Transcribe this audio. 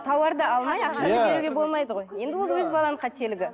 тауарды алмай ақшаны беруге болмайды ғой енді ол өз баланың қателігі